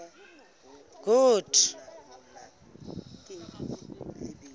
good